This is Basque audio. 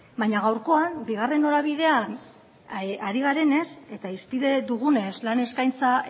baina gaurkoan bigarren norabidean ari garenez eta hizpide dugunez lan eskaintza